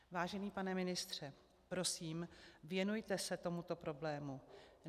Vážený pane ministře, prosím, věnujte se tomuto problému.